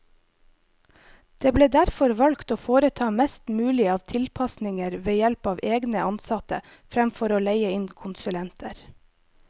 Det ble derfor valgt å foreta mest mulig av tilpasninger ved help av egne ansatte, fremfor å leie inn konsulenter.